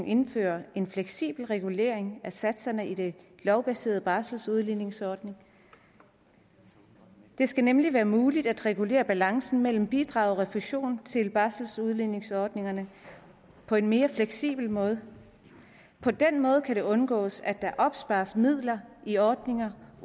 indført en fleksibel regulering af satserne i den lovbaserede barseludligningsordning det skal nemlig være muligt at regulere balancen mellem bidrag og refusion til barseludligningsordningerne på en mere fleksibel måde på den måde kan det undgås at der opspares midler i ordningerne